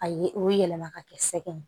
A ye o yɛlɛma ka kɛ sɛgɛn ye